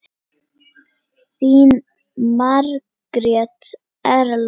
Þín Margrét Erla.